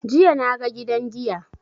Jiya na ga gidan giya.